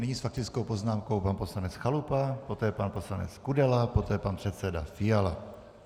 Nyní s faktickou poznámkou pan poslanec Chalupa, poté pan poslanec Kudela, poté pan předseda Fiala.